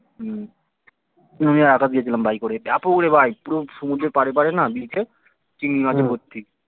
হম আমি আর আকাশ গিয়েছিলাম বাইকে করে কি ব্যাপক রে ভাই পুরো সমুদ্রের পাড়ে পাড়ে না beach এ চিংড়ী মাছে ভর্তি